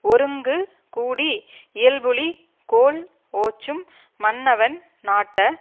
ஒருங்கு கூடி இயல்புளிக் கோல் ஓச்சும் மன்னவன் நாட்ட